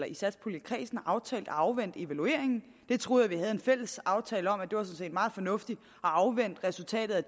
i satspuljekredsen aftalt at afvente evalueringen jeg troede at vi havde en fælles aftale om at meget fornuftigt at afvente resultatet af